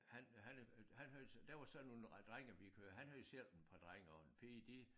Han han øh han havde der var så nogle drenge vi kører han havde selv et par drenge og en pige de